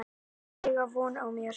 Þau eiga von á mér.